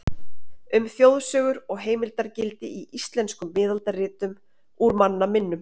Um þjóðsögur og heimildargildi í íslenskum miðaldaritum, Úr manna minnum.